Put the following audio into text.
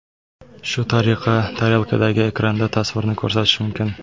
Shu tariqa tarelkadagi ekranda tasvirni ko‘rsatish mumkin.